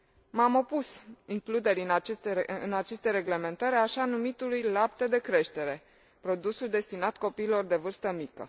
M am opus includerii în aceste reglementări a așa numitului lapte de creștere, produsul destinat copiilor de vârstă mică.